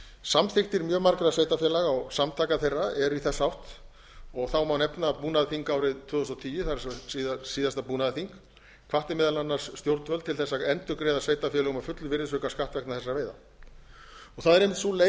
samþykktir mjög margra sveitarfélaga og samtaka þeirra eru í þessa átt og þá má nefna að búnaðarþing árið tvö þúsund og tíu það er síðasta búnaðarþing hvatti meðal annars stjórnvöld til að endurgreiða sveitarfélögum að fullu virðisaukaskatt vegna þessara veiða það er einmitt sú leið